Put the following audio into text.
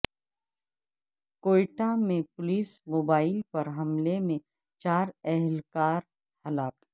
کوئٹہ میں police mobile پر حملے میں چار اہل کار ہلاک